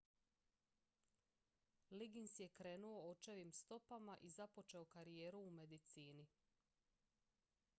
liggins je krenuo očevim stopama i započeo karijeru u medicini